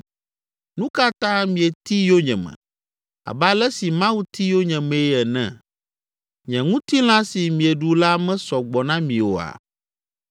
Nu ka ta mieti yonyeme abe ale si Mawu ti yonyemee ene? Nye ŋutilã si mieɖu la mesɔ gbɔ na mi oa?